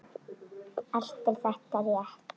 Allt er þetta rétt.